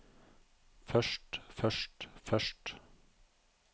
først først først